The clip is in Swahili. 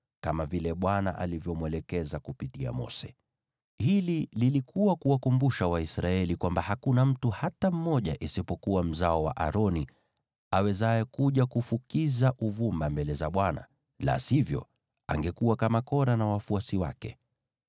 kama vile Bwana alivyomwelekeza kupitia Mose. Hili lilikuwa kuwakumbusha Waisraeli kwamba hakuna mtu hata mmoja, isipokuwa mzao wa Aroni, awezaye kuja kufukiza uvumba mbele za Bwana , la sivyo, angekuwa kama Kora na wafuasi wake.